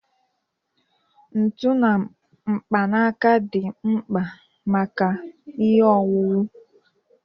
Ntu na mkpanaka dị mkpa maka ihe owuwu.